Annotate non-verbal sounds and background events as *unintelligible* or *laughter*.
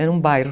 *unintelligible* bairro